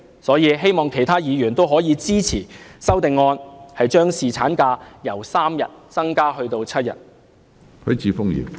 所以，我希望其他議員可以支持我的修正案，將侍產假由3天增加至7天。